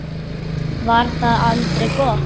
Var það aldrei gott?